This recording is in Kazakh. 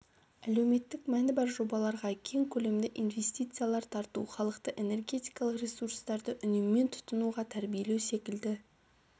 әлеуметтік мәні бар жобаларға кең көлемді инвестициялар тарту халықты энергетикалық ресурстарды үнеммен тұтынуға тәрбиелеу секілді